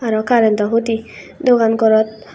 aro karentto hudi dogan gorot.